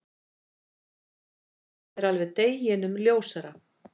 Það er alveg deginum ljósara.